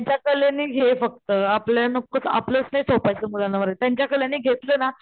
त्यांच्या कलेनी घे फक्त आपल्या नकोच आपलंच नाही थोपायच मुलांना त्यांच्या कलेने'घेतलं ना,